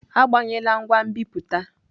Agbanyela ngwa nbipute!